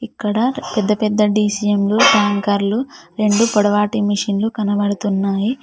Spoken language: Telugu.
ఇక్కడ పెద్ద పెద్ద డి_సీ_ఎం లు ట్యాంకర్లు రెండు పొడవాటి మిషిన్లు కనబడుతున్నాయి.